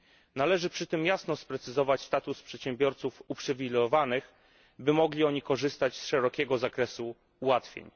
Należy przy tym jasno sprecyzować status przedsiębiorców uprzywilejowanych, by mogli oni korzystać z szerokiego zakresu ułatwień.